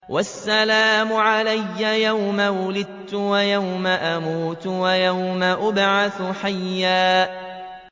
وَالسَّلَامُ عَلَيَّ يَوْمَ وُلِدتُّ وَيَوْمَ أَمُوتُ وَيَوْمَ أُبْعَثُ حَيًّا